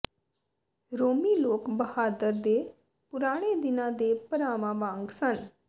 ਰੋਮੀ ਲੋਕ ਬਹਾਦਰ ਦੇ ਪੁਰਾਣੇ ਦਿਨਾਂ ਦੇ ਭਰਾਵਾਂ ਵਾਂਗ ਸਨ